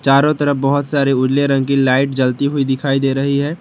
चारों तरफ बहोत सारी उजले रंग की लाइट जलती हुई दिखाई दे रही है।